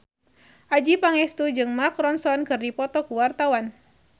Adjie Pangestu jeung Mark Ronson keur dipoto ku wartawan